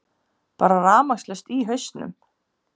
Bara rafmagnslaust í hausnum.